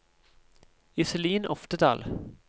Iselin Oftedal